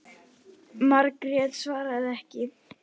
Margrét svaraði ekki.